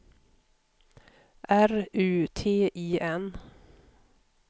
R U T I N